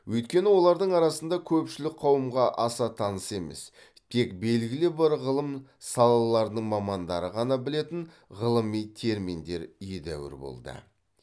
өйткені олардың арасында көпшілік қауымға аса таныс емес тек белгілі бір ғылым салаларының мамандары ғана білетін ғылыми терминдер едәуір болды